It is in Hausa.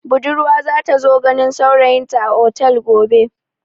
Budurwa za ta zo ganin saurayinta a otel gobe.